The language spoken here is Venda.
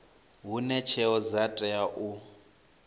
hune tsheo dza tea u